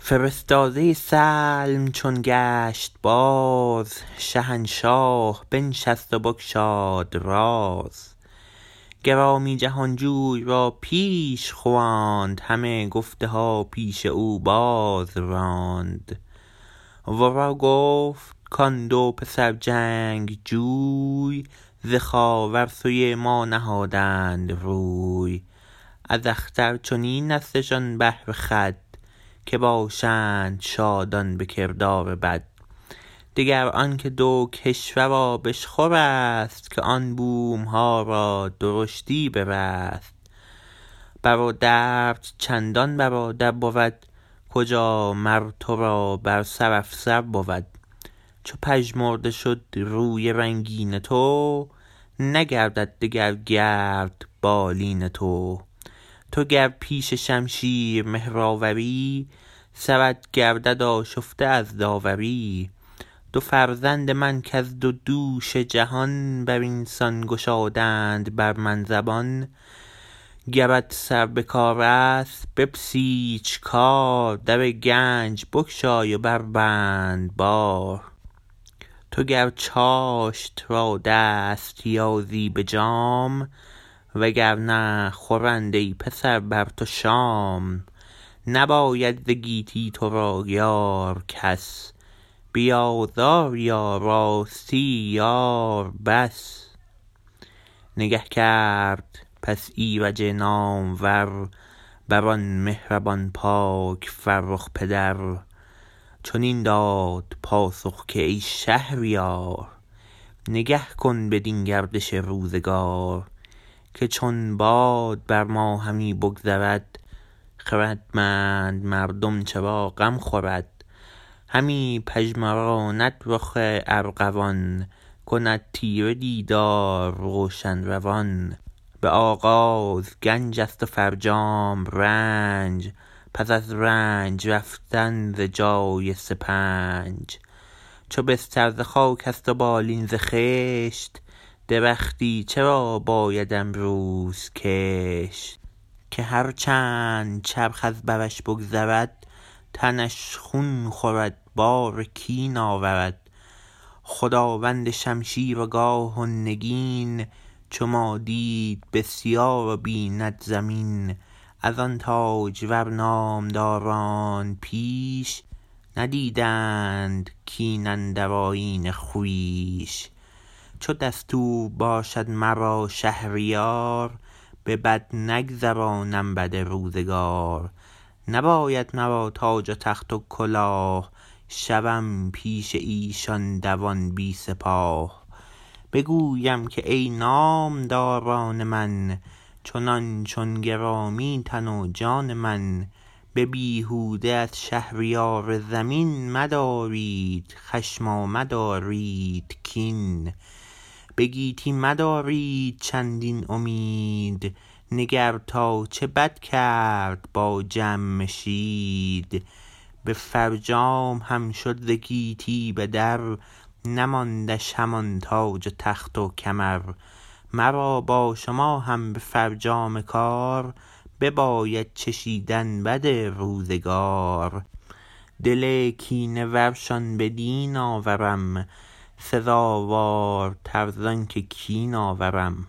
فرستاده سلم چون گشت باز شهنشاه بنشست و بگشاد راز گرامی جهانجوی را پیش خواند همه گفتها پیش او بازراند ورا گفت کان دو پسر جنگجوی ز خاور سوی ما نهادند روی از اختر چنین استشان بهره خود که باشند شادان به کردار بد دگر آنکه دو کشور آبشخورست که آن بومها را درشتی برست برادرت چندان برادر بود کجا مر ترا بر سر افسر بود چو پژمرده شد روی رنگین تو نگردد دگر گرد بالین تو تو گر پیش شمشیر مهرآوری سرت گردد آشفته از داوری دو فرزند من کز دو دوش جهان برینسان گشادند بر من زبان گرت سر بکارست بپسیچ کار در گنج بگشای و بربند بار تو گر چاشت را دست یازی به جام و گر نه خورند ای پسر بر تو شام نباید ز گیتی ترا یار کس بی آزاری و راستی یار بس نگه کرد پس ایرج نامور برآن مهربان پاک فرخ پدر چنین داد پاسخ که ای شهریار نگه کن بدین گردش روزگار که چون باد بر ما همی بگذرد خردمند مردم چرا غم خورد همی پژمراند رخ ارغوان کند تیره دیدار روشن روان به آغاز گنج است و فرجام رنج پس از رنج رفتن ز جای سپنچ چو بستر ز خاکست و بالین ز خشت درختی چرا باید امروز کشت که هر چند چرخ از برش بگذرد تنش خون خورد بار کین آورد خداوند شمشیر و گاه و نگین چو ما دید بسیار و بیند زمین از آن تاجور نامداران پیش ندیدند کین اندر آیین خویش چو دستور باشد مرا شهریار به بد نگذرانم بد روزگار نباید مرا تاج و تخت و کلاه شوم پیش ایشان دوان بی سپاه بگویم که ای نامداران من چنان چون گرامی تن و جان من به بیهوده از شهریار زمین مدارید خشم و مدارید کین به گیتی مدارید چندین امید نگر تا چه بد کرد با جمشید به فرجام هم شد ز گیتی بدر نماندش همان تاج و تخت و کمر مرا با شما هم به فرجام کار بباید چشیدن بد روزگار دل کینه ورشان بدین آورم سزاوارتر زانکه کین آورم